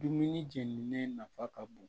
Dumuni jeninen nafa ka bon